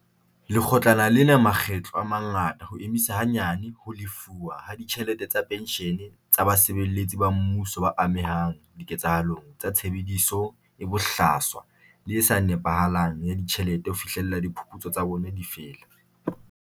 Lekgotlana lena makgetlo a mangata ho emisa hanyane ho lefuwa ha ditjhelete tsa penshene tsa basebeletsi ba mmuso ba amehang diketsahalong tsa tshebediso e bohlaswa le e sa nepahalang ya ditjhelete ho fihlela diphuputso tsa bona di fela.